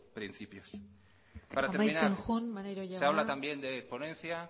principios para terminar amaitzen joan maneiro jauna se habla también de ponencia